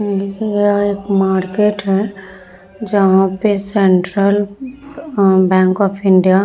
यह एक मार्केट है जहाँ पे सेंट्रल आ बैंक ऑफ़ इंडिया --